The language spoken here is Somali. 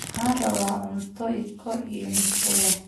Waxaan rabaa cunto Iko iyo musqul leh